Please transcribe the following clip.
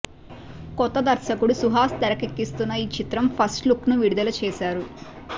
కొత్త దర్శకుడు సుహాస్ తెరకెక్కిస్తున్న ఈ చిత్రం ఫస్ట్లుక్ను విడుదల చేశారు